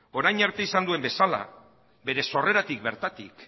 orain arte izan duen bezala bere sorreratik bertatik